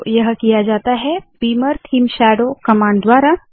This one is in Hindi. तो यह किया जाता है बीमर थीम शैडो कमांड द्वारा